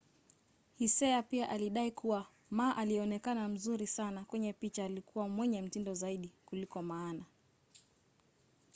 hsieh pia alidai kuwa ma aliyeonekana mzuri sana kwenye picha alikuwa mwenye mtindo zaidi kuliko maana